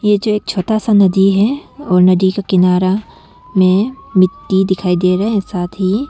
नीचे एक छोटा सा नदी है और नदी का किनारा में मिट्टी दिखाई दे रहा है साथ ही।